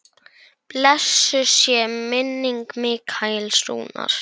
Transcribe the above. Blessuð sé minning Mikaels Rúnars.